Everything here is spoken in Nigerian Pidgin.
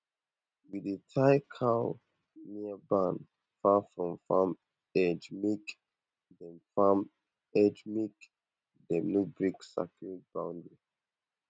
we dey tie cow near barn far from farm edgemake dem farm edgemake dem no break sacred boundary